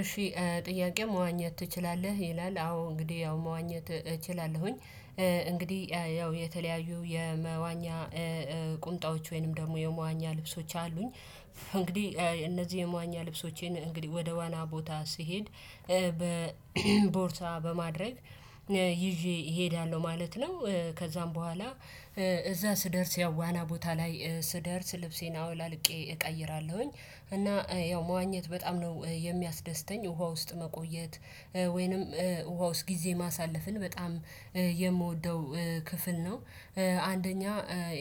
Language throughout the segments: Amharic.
እሺ ጥያቄ መዋኘት ትችላለህ ይላል አዎ እንግዲህ ያው መዋኘት እችላለሁኝ። እንግዲህ ያው የተለያዩ የመዋኛ ቁምጣዎች ወይንም ደግሞ የመዋኛ ልብሶች አሉኝ እንግዲህ እነዚህ የሟኛ ልብሶቼን እንግዲህ ወደ ዋና ቦታ ስሄድ በቦርታ በማድረግ ይዤ እሄዳለሁ ማለት ነው፣ ከዛም በኋላ እዛ ስደርስ ያው ዋና ቦታ ላይ ስደርስ ልብሴን አውላልቄ እቀይራለሁኝ እና ያው መዋኘት በጣም ነው የሚያስደስተኝ ውሃ ውስጥ መቆየት ወይንም ውሃ ውስጥ ጊዜ ማሳለፍን በጣም የምወደው ክፍል ነው። አንደኛ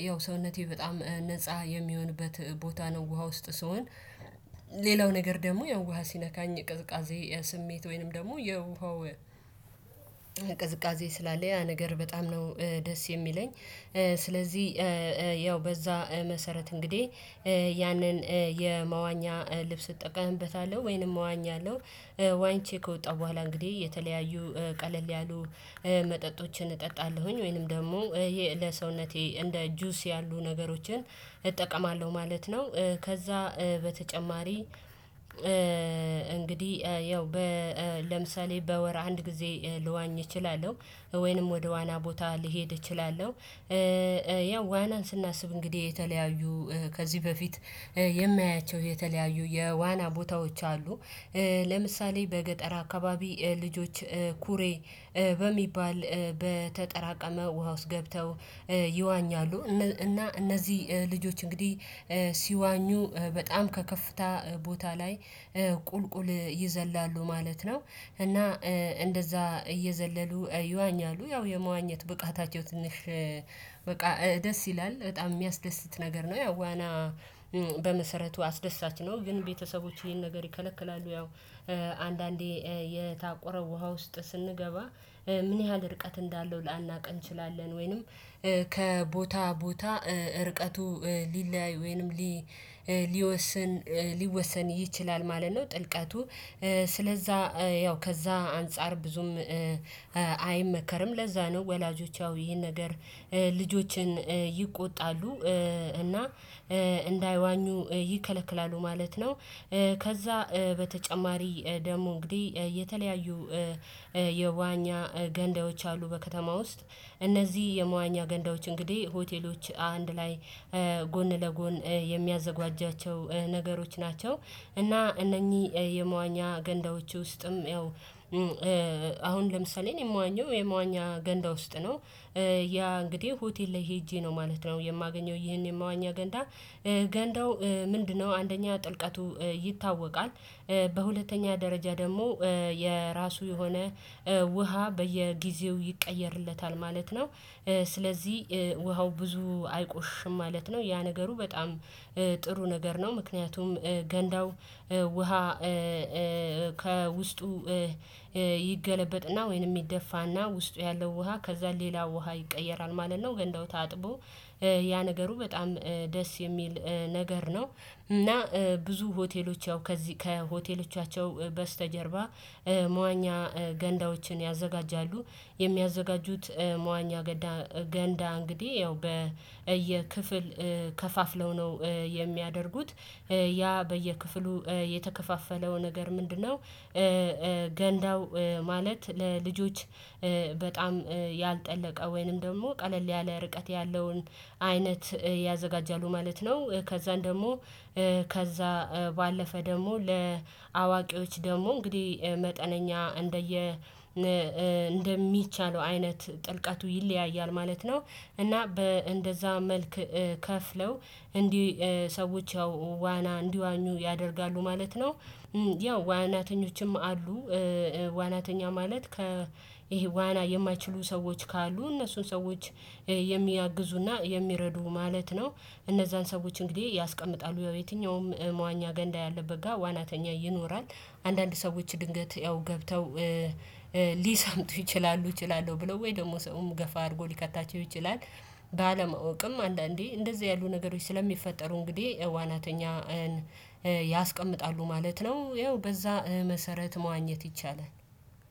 ያው ሰውነቴ በጣም ነፃ የሚሆንበት ቦታ ነው ውሃ ውስጥ ስሆን ሌላው ነገር ደግሞ ያው ውሃ ሲነካኝ ቅዝቃዜ የስሜት ወይንም ደግሞ የውሃው ቀዝቃዜ ስላለ ያ ነገር በጣም ነው ደስ የሚለኝ ስለዚህ ያው በዛ መሰረት እንግዲህ ያንን የመዋኛ ልብስ እጠቀምበታለሁ ወይንም እዋኛለሁ። ዋኝቼ ከወጣሁ በኋላ እንግዲህ የተለያዩ ቀለል ያሉ መጠጦችን እጠጣለሁኝ ወይንም ደግሞ ለሰውነቴ እንደ ጁስ ያሉ ነገሮችን እጠቀማለሁ ማለት ነው። ከዛ በተጨማሪ እንግዲህ ያው ለምሳሌ በወር አንድ ጊዜ ልዋኝ እችላለሁ ወይንም ወደ ዋና ቦታ ልሄድ እችላለሁ። ያው ዋናን ስናስብ እንግዲህ የተለያዩ ከዚህ በፊት የሚያቸው የተለያዩ የዋና ቦታዎች አሉ፣ ለምሳሌ በገጠር አካባቢ ልጆች ኩሬ በሚባል በተጠራቀመ ውሃ ውስጥ ገብተው ይዋኛሉ እና እነዚህ ልጆች እንግዲህ ሲዋኙ በጣም ከከፍታ ቦታ ላይ ቁልቁል ይዘላሉ ማለት ነው እና እንደዛ እየዘለሉ ይዋኛሉ ያው የመዋኘት ብቃታቸው ትንሽ በቃ ደስ ይላል በጣም የሚያስደስት ነገር ነው ያው ዋና በመሰረቱ አስደሳች ነው ግን ቤተሰቦች ይሄን ነገር ይከለክላሉ ያው አንዳንዴ የታቆረ ውሃ ውስጥ ስንገባ ምን ያህል ርቀት እንዳለው ላናውቅ እንችላለን ወይንም ከቦታ ቦታ ርቀቱ ሊለያይ ወይንም ሊወስን ሊወሰን ይችላል ማለት ነው ጥልቀቱ ስለዛ ያው ከዛ አንፃር ብዙም አይመከርም ለዛ ነው ወላጆች ያው ይሄን ነገር ልጆችን ይቆጣሉ እና እንዳይዋኙ ይከለክላሉ ማለት ነው። ከዛ በተጨማሪ ደግሞ እንግዲህ የተለያዩ የመዋኛ ገንዳዎች አሉ በከተማ ውስጥ እነዚህ የመዋኛ ገንዳዎች እንግዲህ ሆቴሎች አንድ ላይ ጎን ለጎን የሚያዘጋጇቸው ነገሮች ናቸው እና እነኚህ የመዋኛ ገንዳዎች ውስጥም ያው አሁን ለምሳሌ እኔ የምዋኘው የምዋኛ ገንዳ ውስጥ ነው። ያ እንግዲህ ሆቴል ላይ ሄጄ ነው ማለት ነው የማገኘው ይሄን የማዋኛ ገንዳ ገንዳው ምንድነው አንደኛ ጥልቀቱ ይታወቃል፣ በሁለተኛ ደረጃ ደግሞ የራሱ የሆነ ውሃ በየጊዜው ይቀየርለታል ማለት ነው። ስለዚህ ውሃው ብዙ አይቆሽሽም ማለት ነው ያ ነገሩ በጣም ጥሩ ነገር ነው ምክንያቱም ገንዳው ውሃ ከውስጡ ይገለበጥና ወይንም ይደፋና ውስጡ ያለው ውሃ ከዛ ሌላ ውሃ ይቀየራል ማለት ነው ገንዳውታ ታጥቦ ያ ነገሩ በጣም ደስ የሚል ነገር ነው እና ብዙ ሆቴሎች ያው ከዚህ ከሆቴሎቻቸው በስተጀርባ መዋኛ ገንዳዎችን ያዘጋጃሉ። የሚያዘጋጁት መዋኛ ገንዳ እንግዲህ ያው በየክፍል ከፋፍለው ነው የሚያደርጉት ያ በየክፍሉ የተከፋፈለው ነገር ምንድነው ገንዳው ማለት ለልጆች በጣም ያልጠለቀ ወይንም ደግሞ ቀለል ያለ ርቀት ያለውን አይነት ያዘጋጃሉ ማለት ነው ከዛን ደግሞ ከዛ ባለፈ ደግሞ ለአዋቂዎች ደግሞ እንግዲህ መጠነኛ እንደየ እንደሚቻለው አይነት ጥልቀቱ ይለያያል ማለት ነው እና በእንደዛ መልክ ከፍለው እንዲህ ሰዎች ያው ዋና እንዲዋኙ ያደርጋሉ ማለት ነው። ያው ዋናተኞችም አሉ ዋናተኛ ማለት ከ ይሄ ዋና የማይችሉ ሰዎች ካሉ እነሱን ሰዎች የሚያግዙና የሚረዱ ማለት ነው እነዛን ሰዎች እንግዲህ ያስቀምጣሉ የትኛውም መዋኛ ገንዳ ያለበት ጋር ዋናተኛ ይኖራል፣ አንዳንድ ሰዎች ድንገት ያው ገብተው ሊሰምጡ ይችላሉ እችላለሁ ብለው ወይ ደግሞ ሰውም ገፋ አድርጎ ሊከታቸው ይችላል። ባለማወቅም አንዳንዴ እንደዚህ ያሉ ነገሮች ስለሚፈጠሩ እንግዲህ ዋናተኛን ያስቀምጣሉ ማለት ነው። ያው በዛ መሰረት መዋኘት ይቻላል።